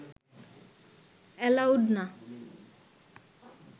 allowed না